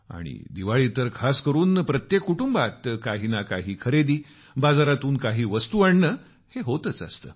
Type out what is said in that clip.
आणि दिवाळीत तर खास करून प्रत्येक कुटुंबात काही ना काही खरेदी बाजारातून काही वस्तू आणणे हे होतच असते